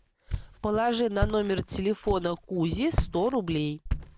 положи на номер телефона кузи сто рублей